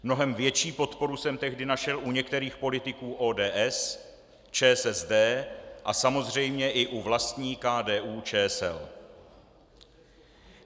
Mnohem větší podporu jsem tehdy našel u některých politiků ODS, ČSSD a samozřejmě i u vlastní KDU-ČSL.